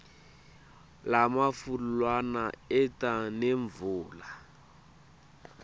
lamafu lawa eta nemvula